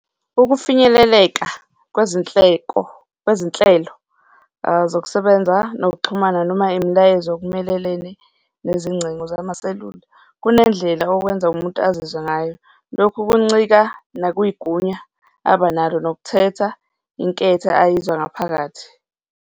Ukufinyeleleka kwezinhleko, kwezinhlelo zokusebenza nokuxhumana noma imilayezo okumelelene nezingcingo zamaselula, kunendlela okwenza umuntu azizwe ngayo. Lokhu kuncika nakwigunya abanalo nokuthetha inketho ayizwa ngaphakathi.